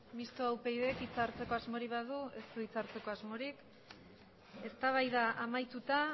mistoa upydek hitza hartzeko asmorik badu ez du hitza hartzeko asmorik eztabaida amaituta